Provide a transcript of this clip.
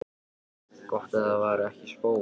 Gott ef það var ekki spói.